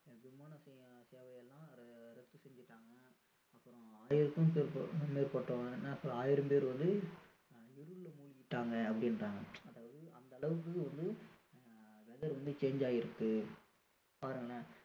விமான சேவை எல்லாம் ரத்து செஞ்சுட்டாங்க அப்பறோம் ஆயிரத்திற்கும் மேற்பட்ட ஆயிரம் பேரு வந்து இருள்ல முழிகிட்டாங்க அப்படின்றாங்க அதாவது அந்த அளவுக்கு வந்து ஆஹ் weather வந்து change ஆகி இருக்கு பாருங்களேன்